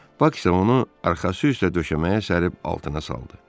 Bak isə onu arxası üstə döşəməyə sərib altına saldı.